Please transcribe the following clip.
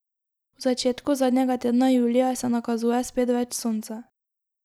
V začetku zadnjega tedna julija se nakazuje spet več sonca.